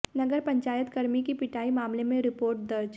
नगर पंचायत कर्मी की पिटाई मामले में रिपोर्ट दर्ज